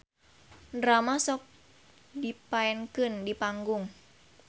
Drama sok dipaenkeun di panggung.